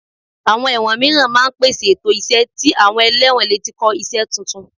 Àwọn ẹ̀wọ̀n mìíràn máa ń pèsè ètò iṣẹ́ tí àwọn ẹlẹ́wọ̀n lè ti kọ́ iṣẹ́ tuntun